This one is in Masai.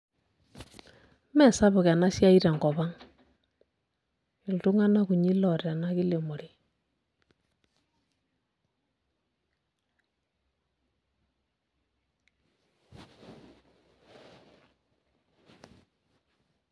Mesapuk enasiai tenkop ang. Iltung'anak kunyi loota ena kilemore.